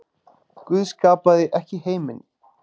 Guð skapaði ekki heiminn.